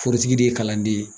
Forotigi de ye kalanden ye.